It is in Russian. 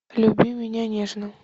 люби меня нежно